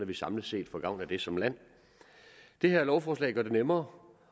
vi samlet set får gavn af det som land det her lovforslag gør det nemmere